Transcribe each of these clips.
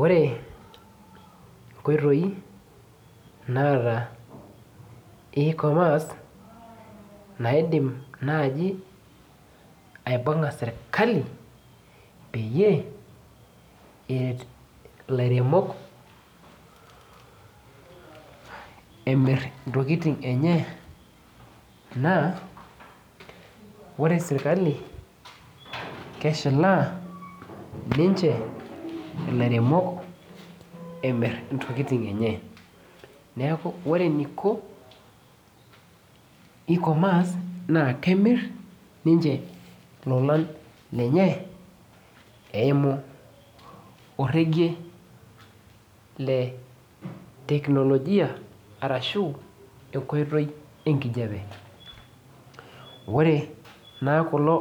Ore nkoitoi naata ecommerce naidim nai aibunga serkali peyie eret ilairemok emir ntokitin enye na ore serkali keshilaa ninche ilairemok emir ntokitin enye neaku ore eniko e-commerce kemir ninche ntokitin enye eimu orege le technologia ashu enkoitoi enkipande naa kulo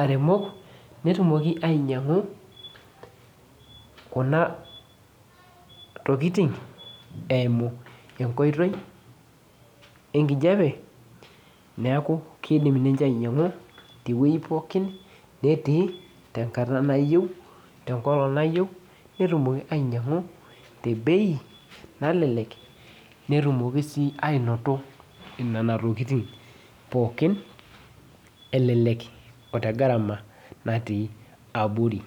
aremok netumoki ainnyangu kunatokitin eimu enkoitoi enkijape neaku kidil ninche ainnyangu tenkolong nayiau netumoki ainyangu tebei nalelek elele aa tegarama natii abori.